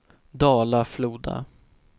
Dala-Floda